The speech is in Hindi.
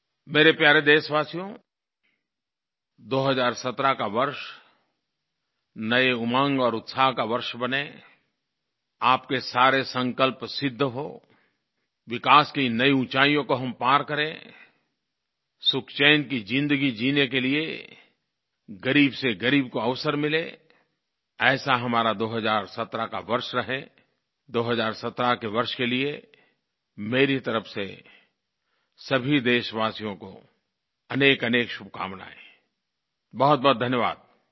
मेरे प्यारे देशवासियो 2017 का वर्ष नई उमंग और उत्साह का वर्ष बने आपके सारे संकल्प सिद्ध हों विकास की नई ऊँचाइयों को हम पार करेंआई सुख चैन की ज़िन्दगी जीने के लिए ग़रीब से ग़रीब को अवसर मिले ऐसा हमारा 2017 का वर्ष रहेआई 2017 के वर्ष के लिये मेरी तरफ से सभी देशवासियों को अनेकअनेक शुभकामनायेंआई बहुतबहुत धन्यवादI